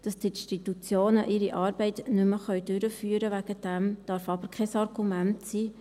Dass die Institutionen ihre Arbeit deswegen nicht mehr durchführen können, darf aber kein Argument sein.